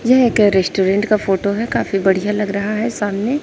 यह एक रेस्टोरेंट का फोटो है काफी बढ़िया लग रहा है सामने--